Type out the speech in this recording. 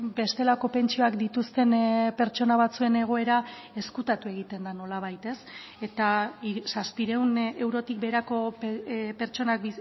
bestelako pentsioak dituzten pertsona batzuen egoera ezkutatu egiten da nolabait ez eta zazpiehun eurotik beherako pertsonak